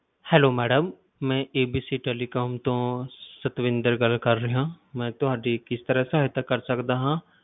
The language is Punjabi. Hello madam ਮੈਂ ABC Telecom ਤੋਂ ਸਤਵਿੰਦਰ ਗੱਲ ਕਰ ਰਿਹਾ ਹਾਂ, ਮੈਂ ਤੁਹਾਡੀ ਕਿਸ ਤਰ੍ਹਾਂ ਸਹਾਇਤਾ ਕਰ ਸਕਦਾ ਹਾਂ?